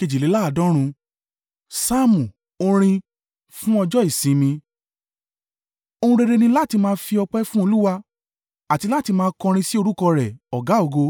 Saamu. Orin. Fún Ọjọ́ Ìsinmi. Ohun rere ni láti máa fi ọpẹ́ fún Olúwa àti láti máa kọrin sí orúkọ rẹ̀, Ọ̀gá-ògo,